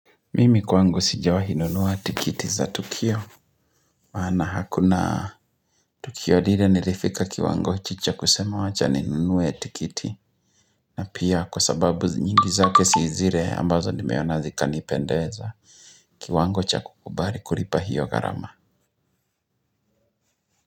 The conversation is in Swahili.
Mimi kwangu sijawahi nunua tikiti za tukio. Maana hakuna tukio lile nilifika kiwango cha kusema wacha ninunue tikiti. Na pia kwa sababu nyingi zake zile ambazo nimeona zika nipendeza. Kiwango cha kukubali kulipa hiyo gharama.